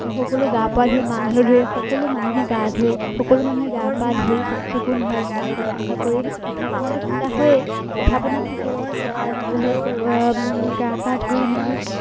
সকলো গা পা ধুই মাহ হালধিৰে সকলো মানুহে গা ধোৱে সকলো মানুহে গা পা ধুই চাফ চিকুণ হৈ ঘৰ দুৱাৰ চাফা কৰি পিঠা পনাটো খুন্দা হয়েই পিঠা পনাটো থাকেই